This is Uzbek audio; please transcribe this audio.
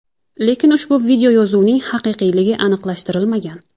Lekin ushbu videoyozuvning haqiqiyligi aniqlashtirilmagan.